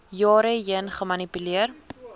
jare heen gemanipuleer